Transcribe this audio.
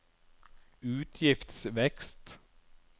utgiftsvekst